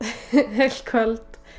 heilt kvöld